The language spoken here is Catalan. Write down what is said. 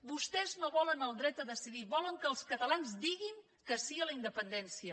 vostès no volen el dret a decidir volen que els catalans diguin que sí a la independència